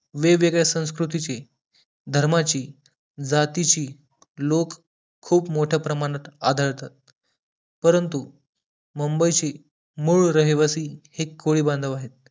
वेगवेगळ्या संस्कृतीची धर्माची जातीची लोक खूप मोठ्या प्रमाणात आढळतात परंतु मुंबई ची मूळ रहिवासी के कोळी बांधव आहेत